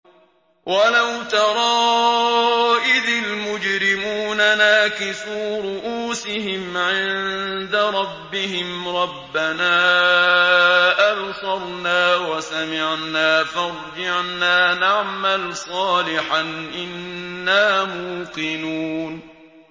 وَلَوْ تَرَىٰ إِذِ الْمُجْرِمُونَ نَاكِسُو رُءُوسِهِمْ عِندَ رَبِّهِمْ رَبَّنَا أَبْصَرْنَا وَسَمِعْنَا فَارْجِعْنَا نَعْمَلْ صَالِحًا إِنَّا مُوقِنُونَ